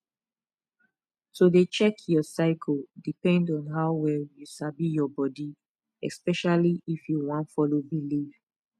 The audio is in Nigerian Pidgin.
to dey check your cycle depend on how well you sabi your body especially if you wan follow belief